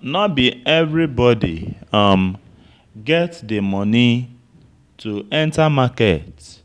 No be everybody um get di money to enter market